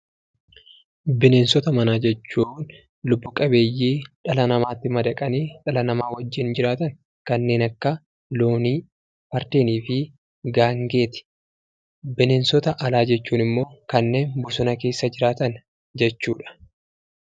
Bineensota manaa jechuun lubbu qabeeyyii dhala namaatti madaqanii dhala namaa wajjiin jiraatan kanneen akka loonii fardeeniifi gaangeeti bineensota alaa jechuunimmoo kanneen bosona keessa jiraatan jechuudha.